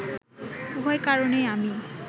উভয় কারণেই আমি